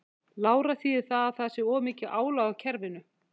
Lára: Þýðir það að það sé of mikið álag á kerfinu?